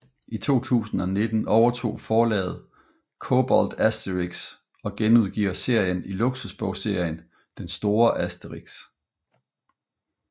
I 2019 overtog forlaget Cobolt Asterix og genudgiver serien i luksusbogserien Den store Asterix